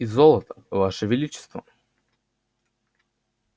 и золото ваше величество